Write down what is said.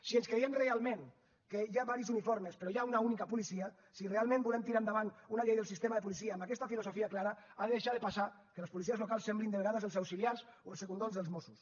si ens creiem realment que hi ha diversos uniformes però hi ha una única policia si realment volem tirar endavant una llei del sistema de policia amb aquesta filosofia clara ha de deixar de passar que les policies locals semblin de vegades els auxiliars o els segundons dels mossos